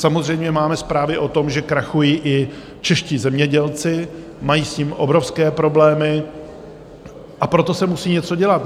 Samozřejmě máme zprávy o tom, že krachují i čeští zemědělci, mají s tím obrovské problémy, a proto se musí něco dělat.